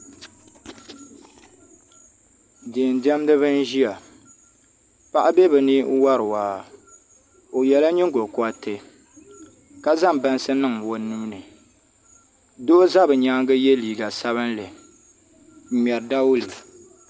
Diɛn diɛmdibi n ʒiya paɣa bɛ bi ni n wori waa o yɛla nyingokoriti ka zaŋ bansi niŋ o nuuni doo ʒɛ bi nyaangi yɛ liiga sabinli n ŋmɛri dawulɛ